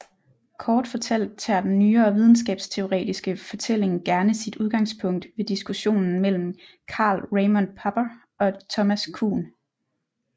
Kort fortalt tager den nyere videnskabsteoretiske fortælling gerne sit udgangspunkt ved diskussionen mellem Karl Raimund Popper og Thomas Kuhn